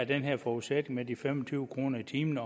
den her forudsætning med de fem og tyve kroner i timen